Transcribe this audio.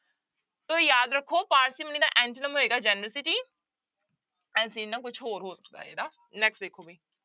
ਤੋ ਯਾਦ ਰੱਖੋ parsimony ਦਾ antonym ਹੋਏਗਾ generosity ਕੁਛ ਹੋਰ ਹੋ ਸਕਦਾ ਇਹਦਾ next ਦੇਖੋ ਬਈ।